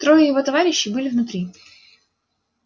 трое его товарищей были внутри